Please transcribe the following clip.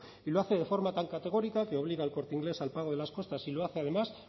y lo hace de forma tan categórica que obliga a el corte inglés al pago de las costas y lo hace además